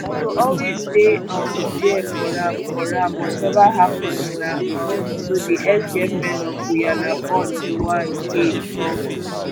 i go always dey um dia for am for am wateva happens na um so di exgirlfriend of guyanaborn joan k tok